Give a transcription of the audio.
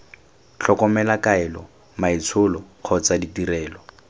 tlhokomelo kaelo maitsholo kgotsa ditirelo